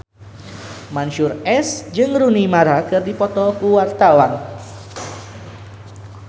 Mansyur S jeung Rooney Mara keur dipoto ku wartawan